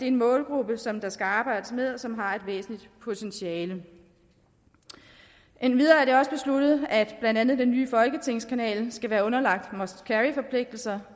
en målgruppe som der skal arbejdes med og som har et væsentligt potentiale endvidere er det også besluttet at blandt andet den nye folketingskanal skal være underlagt must carry forpligtelser